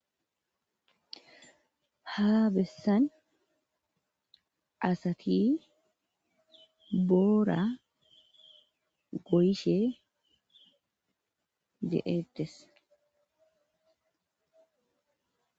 Ha bessan asati boora goyishe deetes.